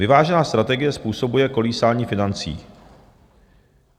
Vyvážená strategie způsobuje kolísání financí.